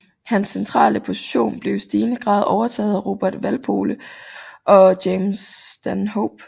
Hans centrale position blev i stigende grad overtaget af Robert Walpole og James Stanhope